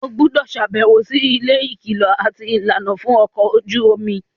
o gbúdọ̀ sàbẹ̀wò si ilé ìkìlọ̀ àti ìlànà fún ọkọ̀ ojú omi.